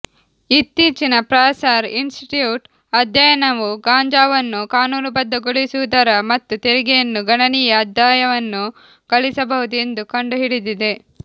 ಇತ್ತೀಚಿನ Fraser Institute ಅಧ್ಯಯನವು ಗಾಂಜಾವನ್ನು ಕಾನೂನುಬದ್ಧಗೊಳಿಸುವುದರ ಮತ್ತು ತೆರಿಗೆಯನ್ನು ಗಣನೀಯ ಆದಾಯವನ್ನು ಗಳಿಸಬಹುದು ಎಂದು ಕಂಡುಹಿಡಿದಿದೆ